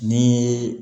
Ni